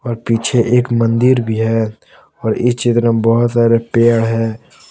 और पीछे एक मंदिर भी है और इस चित्र में बहुत सारे पेड़ है।